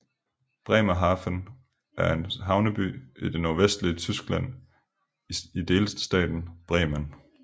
Bremerhaven er en havneby i det nordvestlige Tyskland i delstaten Bremen